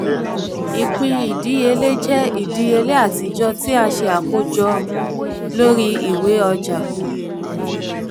ìpín ìdíyèlé jẹ ìdíyèlé atijọ ti a ṣe akojọ lori iwe ọja.